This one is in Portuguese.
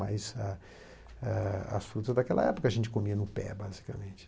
Mas ah eh as frutas daquela época a gente comia no pé, basicamente.